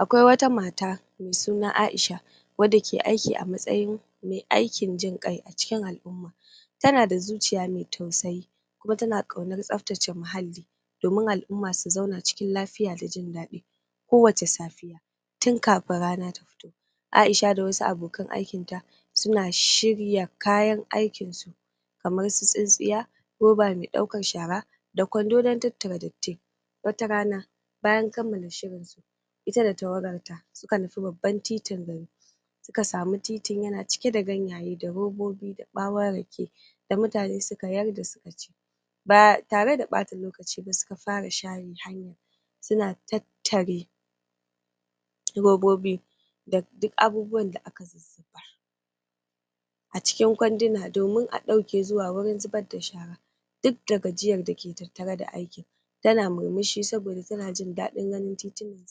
Akwai wata mata mai suna Aisha wadda ke aiki a matsayin mai aikin jin ƙai a cikin al’umma Tana da zuciya mai tausayi kuma tana ƙaunar tsaftace muhalli domin al’umma su zauna cikin lafiya da jin daɗi Kowacce safe tun kafin rana ta fito Aisha da wasu abokan aikinta suna shirya kayan aikinsu kamar su tsintsiya, roba mai ɗaukan shara, da kwando na tattara datti Wata rana bayan kammala shirin su ita da tawagarta suka nufi babban titin gari Suka samu titin yana cike da gannaye, da robobi, da bawon rake da mutane suka yar da su a ciki Ba tare da ɓata lokaci ba suka fara share hanyan suna tattare robobi da duk abubuwan da aka zuzzubar zubar a cikin kwanduna domin a ɗauke zuwa wurin zubar da shara Duk da gajiyar da ke tattare da aikin tana murmushi saboda tana jin daɗin ganin titunan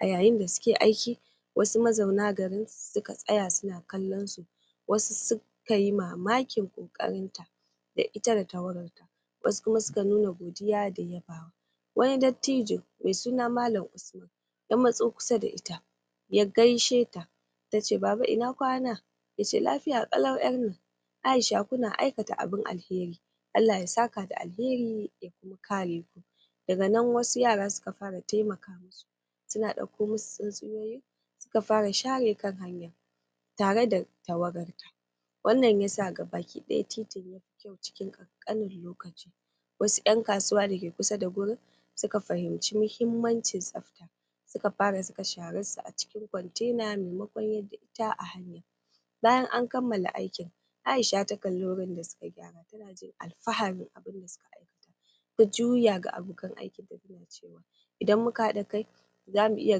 A yayin da suke aikin, wasu mazaunan garin suka tsaya suna kallonsu Wasu suka yi mamakin ƙoƙarinta da ita da tawagarta wasu kuma suka nuna godiya da yabawa Wani dattijo mai suna Mallam Usman ya matso kusa da ita ya gaisheta Tace Baba, ina kwana Yace Lafiya kalau ’yar nan. Aisha, kuna aikata abin alheri Allah ya saka da alheri ya kuma kare ku Daga nan wasu yara suka fara taimaka musu suna ɗauko musu tsintsiya suka fara share kan hanya tare da tawagarta Wannan yasa gaba ɗaya titin ya yi kyau cikin ƙanƙanin lokaci Wasu ’yan kasuwa da ke kusa da wurin suka fahimci muhimmancin tsafta suka fara zuba sharan su a cikin kwantena, maimakon yar da shi a hanya Bayan an kammala aikin, Aisha ta kalli wurin da suka gyara, tana jin alfaharin abin da suka aikata Ta juya ga abokan aikinta tace Idan muka haɗa kai, zamu iya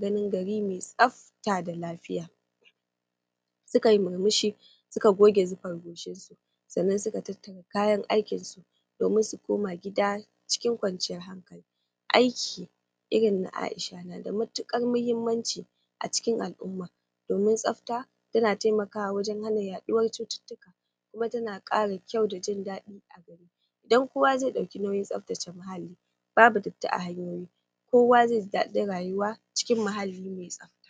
ganin gari mai tsafta da lafiya Suka yi murmushi, suka goge zufar goshinsu, sannan suka tattara kayan aikinsu domin su koma gida cikin kwanciyar hankali Aiki irin na Aisha na matuƙar muhimmanci a cikin al’umma, domin tsafta tana taimaka wajen hana yaduwar cututtuka kuma tana ƙara kyau da jin daɗi a gari Idan kowa zai ɗauki nauyin tsaftace muhalli babu datti a hanyoyi, kowa zai ji daɗin rayuwa cikin muhalli mai tsafta